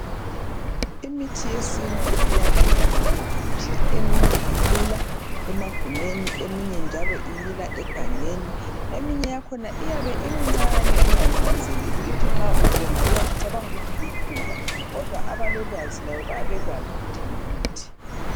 Imithi yesintu iyamila loba ngaphi, eminye imila emagumeni eminye njalo imila egangeni. Eminye yakhona iyabe imcane ungayinanzeleli ukuthi nxa ubona ucabangukuthi lukhula. Kodwa abalolwazi lwayo bayabe bengakwazi ukuthi ngumuthi.